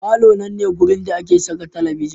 Falo nan ne wurin da ake saka talabijin.